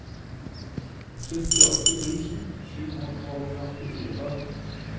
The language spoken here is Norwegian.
syttiåtte tusen sju hundre og førtifire